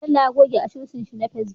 Bello ya goge asusun shi na facebook